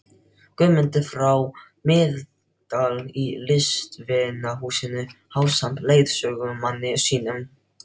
Guðmundar frá Miðdal í Listvinahúsinu ásamt leiðsögumanni sínum.